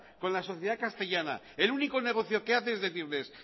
con la sociedad castellana el único negocio que hace es decirles